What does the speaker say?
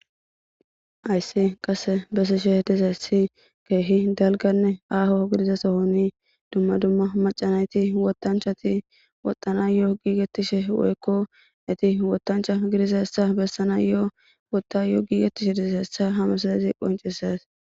Haysi qase besishe dizayssi keehi dalganne aaho gidizasohoni dumma dumma macanayti wotanchati woxana yoo giigetishe woykko iti wotancha gidizassa bessana yoo wootta yoo giigettishe dizzeessa hame sozazi qonceses